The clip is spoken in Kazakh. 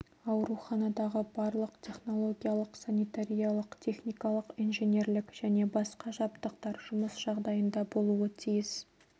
ауруханадағы барлық технологиялық санитариялық-техникалық инженерлік және басқа жабдықтар жұмыс жағдайында болуы тиіс